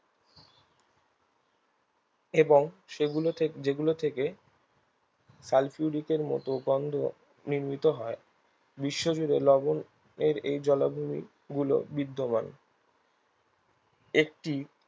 এবং সেগুলোকে যেগুলো থেকে সালফিউরিকের মতন গন্ধ নির্মিত হয় বিশ্বজুড়ে লবণের এই জলাভূমিগুলো বিদ্যমান একটি